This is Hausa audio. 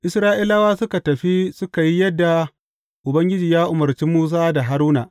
Isra’ilawa suka tafi suka yi yadda Ubangiji ya umarci Musa da Haruna.